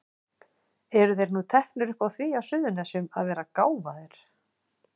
Eru þeir nú teknir upp á því á Suðurnesjum að vera gáfaðir?